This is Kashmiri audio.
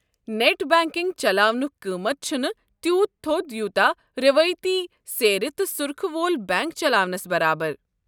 نٮ۪ٹ بنٛکنٛگ چلاونُک قۭمتھ چھُنہٕ تیٖوٗت تھوٚد یوٗتاہ رٮ۪وٲیتی سیرِ تہٕ سٗرخہِ وول بینٛک چلاونس برابر۔